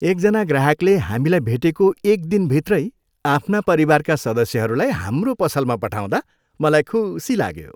एकजना ग्राहकले हामीलाई भेटेको एक दिनभित्रै आफ्ना परिवारका सदस्यहरूलाई हाम्रो पसलमा पठाउँदा मलाई खुसी लाग्यो।